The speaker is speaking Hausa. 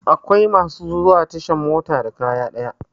Akwai masu zuwa tashan mota da kaya dayawa